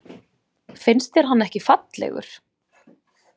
Finnst þér hann ekki fallegur?